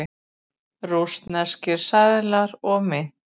Rússneskir seðlar og mynt.